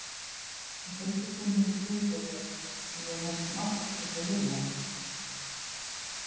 Ég heiti Gunnhildur Grímsdóttir en ég er næstum alltaf kölluð Lilla.